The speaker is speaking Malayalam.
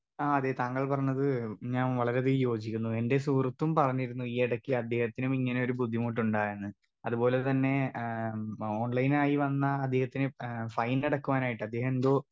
സ്പീക്കർ 2 ആ അതെ താങ്കൾ പറഞ്ഞത് ഞാൻ വളരെയധികം യോചിക്കുന്നു എന്റെ സുഹൃത്തും പറഞ്ഞിരുന്നു ഈയിടക്ക് അദ്ദേഹത്തിനും ഇങ്ങനെ ഒരു ബുദ്ധിമുട്ടുണ്ടായെന്ന് അത് പോലെ തന്നെ ഏ ഓൺലൈനായി വന്ന അദ്ദേഹത്തിന് ഏ ഫൈനടക്കുവാനായിട്ട് അദ്ദേഹെന്തോ.